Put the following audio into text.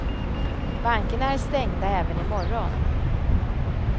Bankerna är stängda även i morgon.